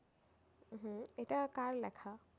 হম এটা কার লেখা?